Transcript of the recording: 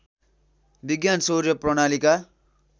विज्ञान सौर्य प्रणालीका